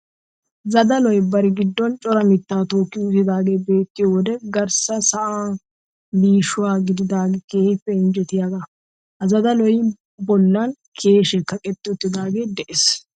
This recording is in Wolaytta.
Zadaloy bari giddon cora mittaa tookki uttidaagee beettiyo wode garssa sa'ay liishuwan giigida keehippe injjetiyagaa. Ha Zadaluwa ballan keyishee kaqetti uttaagee de'ees.